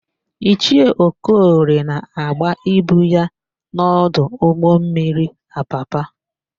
Ichie Okoli na-agba ibu ya n'ọdụ ụgbọmmiri Apapa.